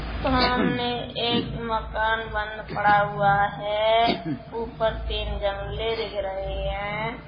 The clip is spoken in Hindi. सामाने एक मकान बंद पड़ा हुआ है। ऊपर तीन जंगले दिख रहे हैं।